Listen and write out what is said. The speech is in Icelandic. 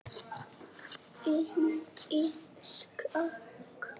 Bindið skakkt.